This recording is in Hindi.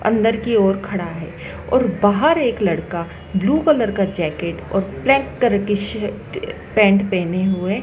अंदर की ओर खड़ा है और बाहर एक लड़का ब्लू कलर का जैकेट और ब्लैक की शर्ट पैंट पहने हुए--